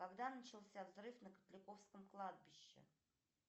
когда начался взрыв на котляковском кладбище